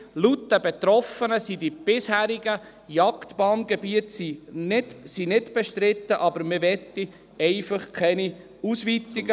Laut den Betroffenen sind die bisherigen Jagdbanngebiete nicht bestritten, aber man möchte keine Ausweitungen.